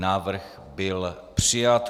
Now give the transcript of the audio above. Návrh byl přijat.